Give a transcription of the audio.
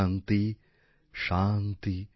শান্তি শান্তি